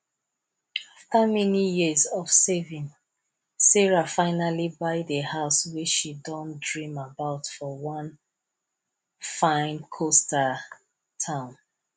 after many years of saving sarah finally buy the house wey she don dream about for one fine coastal town